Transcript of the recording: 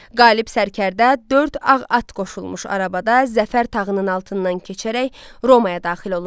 Qalib sərkərdə dörd ağ at qoşulmuş arabada zəfər tağının altından keçərək Romaya daxil olurdu.